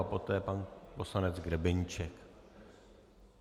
A poté pan poslanec Grebeníček.